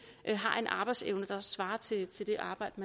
har en arbejdsevne der svarer til det arbejde